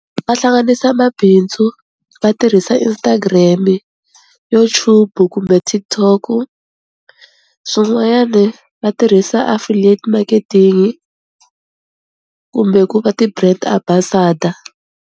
Va hlanganisa mabindzu va tirhisa Instagram-i, YouTube-u kumbe TikTok-u, swin'wanyani va tirhisa affiliate marketing kumbe ku va ti-brand ambassador.